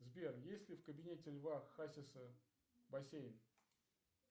сбер есть ли в кабинете льва хасиса бассейн